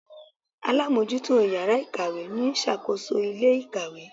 Alámójútó yàrá ìkàwé ni ó sàkóso ilé ìkàwé